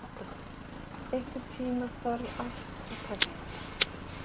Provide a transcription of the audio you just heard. Otta, einhvern tímann þarf allt að taka enda.